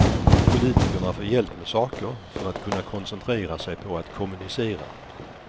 Politikerna får hjälp med saker för att kunna koncentrera sig på att kommunicera.